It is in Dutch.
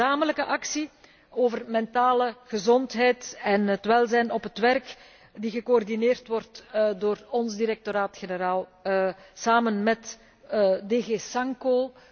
Er is ook een gezamenlijke actie over mentale gezondheid en het welzijn op het werk die gecoördineerd wordt door ons directoraat generaal, samen met DG SANCO.